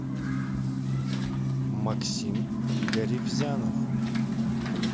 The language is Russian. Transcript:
максим гаривзянов